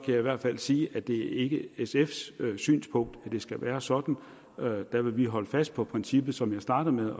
jeg i hvert fald sige at det ikke er sfs synspunkt at det skal være sådan der vil vi holde fast på princippet som jeg startede med